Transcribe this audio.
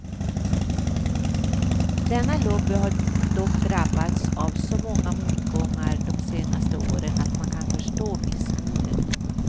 Denna lobby har dock drabbats av så många motgångar de senaste åren att man kan förstå missmodet.